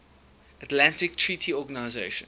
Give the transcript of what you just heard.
atlantic treaty organization